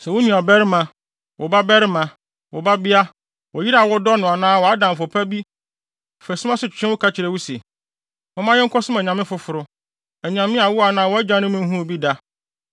Sɛ wo nuabarima, wo babarima, wo babea, wo yere a wodɔ no anaa wʼadamfo pa bi fa sum ase twetwe wo, ka kyerɛ wo se, “Momma yɛnkɔsom anyame afoforo, anyame a wo anaa wʼagyanom nhuu bi da,”